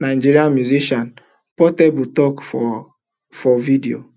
nigerian musician portable tok for for video